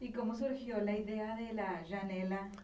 E como surgiu ideia janela?